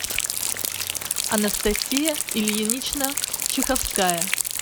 анастасия ильинична чеховская